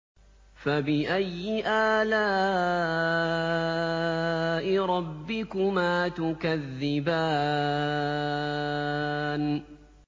فَبِأَيِّ آلَاءِ رَبِّكُمَا تُكَذِّبَانِ